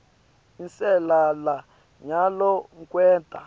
inselela nyalo kwenta